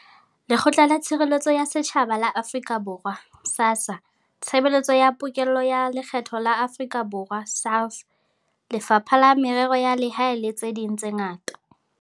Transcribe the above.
Lekgotla la Tshireletso ya Setjhaba la Afrika Borwa, SASSA, Tshebeletso ya Pokello ya Lekgetho ya Afrika Borwa, SARS, Lefapha la Merero ya Lehae le tse ding tse ngata.